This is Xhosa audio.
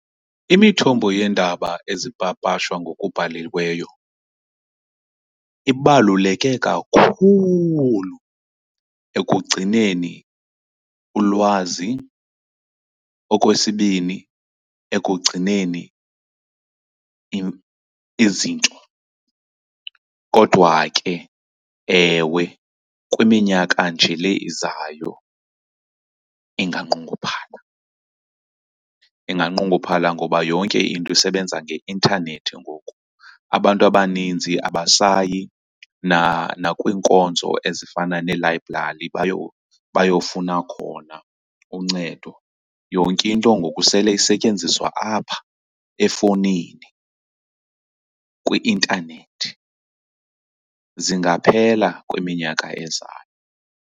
Imithombo yeendaba ezipapashwa ngokubhaliweyo ibaluleke kakhulu ekugcineni ulwazi, okwesibini ekugcineni izinto. Kodwa ke ewe, kwiminyaka nje le izayo inganqongophala. Inganqonguphala ngoba yonke into isebenza ngeintanethi ngoku. Abantu abaninzi abasayi nakwiinkonzo ezifana neelayibrari bayofuna khona uncedo, yonke into ngoku sele isetyenziswa apha efowunini kwi-intanethi. Zingaphela kwiminyaka ezayo.